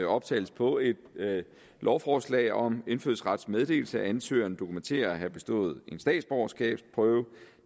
optagelse på et lovforslag om indfødsrets meddelelse at ansøgeren dokumenterer at have bestået en statsborgerskabsprøve